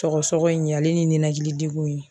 Sɔgɔsɔgɔ in ale ni nɛnɛkili degun in.